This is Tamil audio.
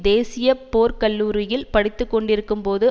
தேசிய போர்க்கல்லூரியில் படித்துக்கொண்டிருக்கும்போது